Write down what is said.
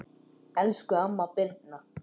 Elsku amma Birna.